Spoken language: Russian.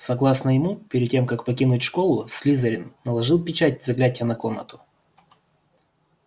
согласно ему перед тем как покинуть школу слизерин наложил печать заклятия на комнату